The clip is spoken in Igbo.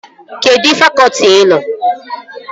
Kedụ fakọtị ị nọ?